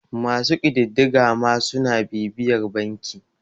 masu ƙididdiga ma suna bibiyar banki